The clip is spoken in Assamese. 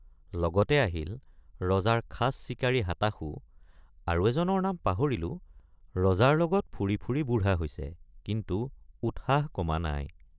লগতে আহিল ৰজাৰ খাচ চিকাৰী হাতাশু আৰু এজনৰ নাম পাহৰিলোঁ ৰজাৰ লগত ফুৰি ফুৰি বুঢ়া হৈছে কিন্তু উৎসাহ কমা নাই।